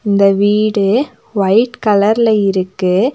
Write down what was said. இந்த வீடு ஒயிட் கலர்ல இருக்கு.